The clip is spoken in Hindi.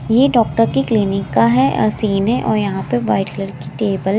यह डॉक्टर की क्लीनिक का है सीन है और यहां पे वाइट कलर की टीम है।